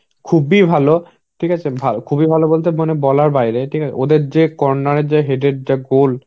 খুবই ভালো. ঠিক আছে. খুবই ভালো বলতে মানে বলার বাইরে. ঠিক আছে. ওদের যে corner এর যে head এর যা goal,